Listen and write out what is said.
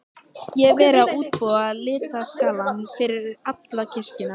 Ég hefi verið að útbúa litaskalann fyrir alla kirkjuna.